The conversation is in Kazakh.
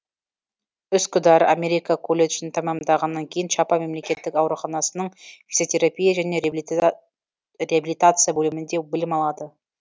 үскүдар америка колледжін тәмамдағаннан кейін чапа мемлекеттік ауруханасының физиотерапия және реабилитация бөлімінде білім алады